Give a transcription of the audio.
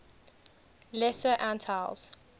lesser antilles